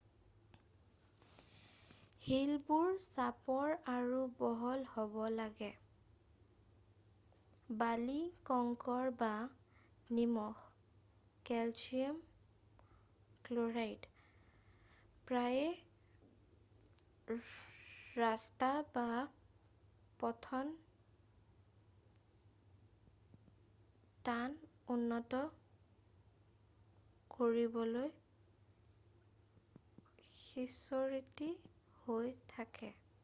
হীলবোৰ চাপৰ আৰু বহল হ’ব লাগে। বালি কংকৰ বা নিমখ কেলছিয়াম ক্ল’ৰাইড প্ৰায়েই ৰাস্তা বা পথত টান উন্নত কৰিবলৈ সিঁচৰতি হৈ থাকে।